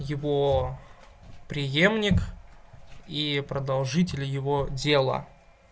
его преемник и продолжитель его дела